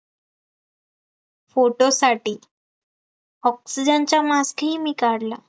photo साठी, oxygen चा mask ही मी काढला